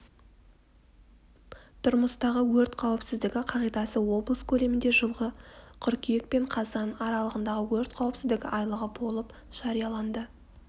тұрмыстағы өрт қауіпсіздігі қағидасы облыс көлемінде жылғы қыркүйек пен қазан аралығында өрт қауіпсіздігі айлығы болып жарияланды